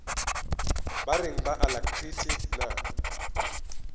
ba reng ba alacrity na